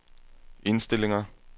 indstillinger